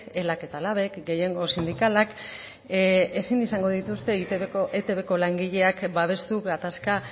elak eta labek gehiengo sindikalak ezin izango dituzte etbko langileak babestu gatazka